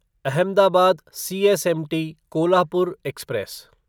Ahmedabad CSMT Kolhapur express